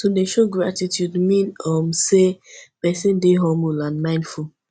to de show gratitude mean um say persin de humble and mindful